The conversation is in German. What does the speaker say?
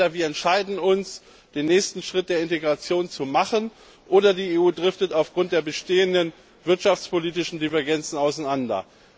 Entweder wir entscheiden uns, den nächsten Schritt der Integration zu machen, oder die EU driftet aufgrund der bestehenden wirtschaftspolitischen Divergenzen auseinander.